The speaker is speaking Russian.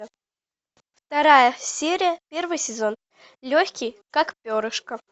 вторая серия первый сезон легкий как перышко